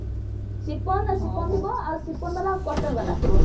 cotton ବାଲା ଥିବ